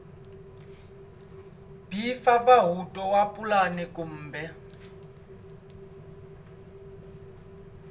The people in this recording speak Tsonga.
b mpfampfarhuto wa pulani kumbe